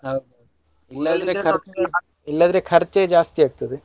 ಹೌದ್ ಇಲ್ಲಾಂದ್ರೆ ಖರ್ಚೇ ಜಾಸ್ತಿ ಆಗ್ತದೆ.